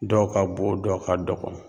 Dɔw ka bon dɔ ka dɔgɔ.